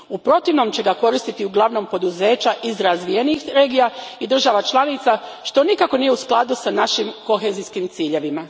U protivnom će ga koristiti uglavnom poduzeća iz razvijenijih regija i država članica, što nikako nije u skladu s našim kohezijskim ciljevima.